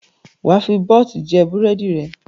Wà á fi bọ́t jẹ búrẹ́dì rẹ!